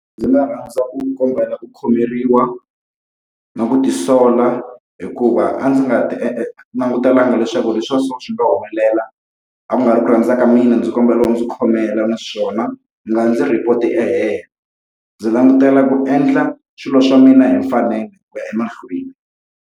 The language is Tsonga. Ndzi nga rhandza ku kombela ku khomeriwa, na ku tisola hikuva a ndzi nga swi langutelanga leswaku leswi swa so swi nga humelela. A ku nga ri ku rhandza ka mina ndzi kombela u ndzi khomela naswona, u nga ndzi report-i kahelo. Ndzi langutela ku endla swilo swa mina hi mfanelo ku ya emahlweni.